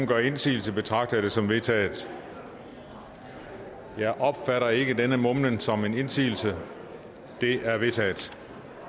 gør indsigelse betragter jeg det som vedtaget jeg opfatter ikke denne mumlen som en indsigelse det er vedtaget